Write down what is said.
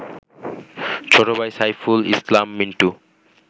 ছোট ভাই সাইফুল ইসলাম মিন্টু